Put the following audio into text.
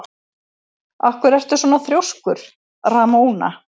Af hverju ertu svona þrjóskur, Ramóna?